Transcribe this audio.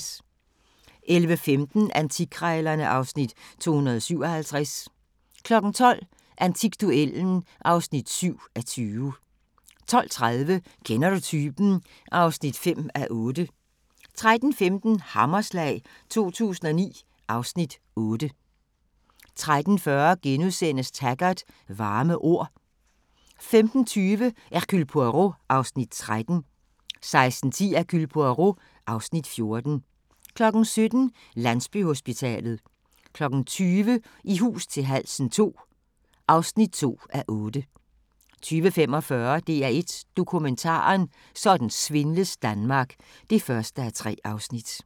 11:15: Antikkrejlerne (Afs. 257) 12:00: Antikduellen (7:20) 12:30: Kender du typen? (5:8) 13:15: Hammerslag 2009 (Afs. 8) 13:40: Taggart: Varme ord * 15:20: Hercule Poirot (Afs. 13) 16:10: Hercule Poirot (Afs. 14) 17:00: Landsbyhospitalet 20:00: I hus til halsen II (2:8) 20:45: DR1 Dokumentaren: Sådan svindles Danmark (1:3)